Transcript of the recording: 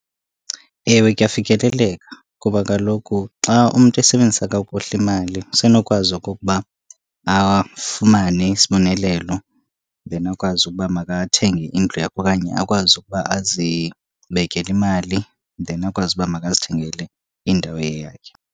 Ewe kuyafikeleleka, kuba kaloku xa umntu esebenzisa kakuhle imali usenokwazi okokuba afumane isibonelelo. Then akwazi ukuba makathenge indlu yakhe okanye akwazi ukuba azibekele imali, then akwazi uba makazithengele indawo eyeyakhe.